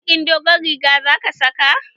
Baƙin dogon rigar za ka saka?